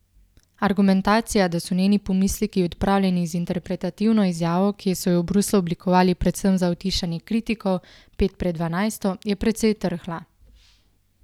Argumentacija, da so njeni pomisleki odpravljeni z interpretativno izjavo, ki so jo v Bruslju oblikovali predvsem za utišanje kritikov pet pred dvanajsto, je precej trhla.